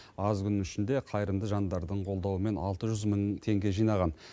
аз күннің ішінде қайырымды жандардың қолдауымен алты жүз мың теңге жинаған